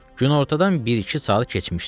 Günortadan bir-iki saat keçmişdi.